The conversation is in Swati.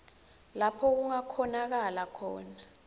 lapho kungakhonakala khona